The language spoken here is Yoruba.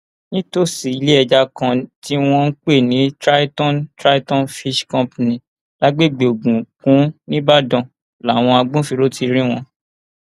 nítòsí iléẹja kan tí wọn ń pè ní triton triton fish company lágbègbè ogun kunn nìbàdàn làwọn agbófinró ti rí wọn